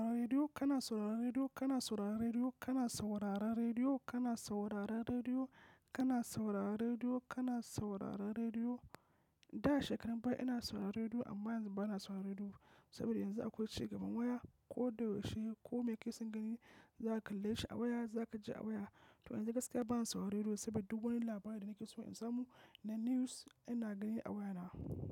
Kana saurara rediyo, kana saurara rediyo, kana saurara rediyo, kana saurara rediyo, kana saurara rediyo, kana saurara rediyo, kana saurara rediyo. Da shekarun baya ina sauraron rediyo amma yanzu bana sauraron rediyo. Saboda yanzu akwai cigaban waya, ko da yaushe ko me kake son gani za ka kalle shi a waya, za ka ji a waya. To yanzu gaskiya bana sauraron rediyo saboda duk wani labari da nake so in samu na news ina ganin a wayana.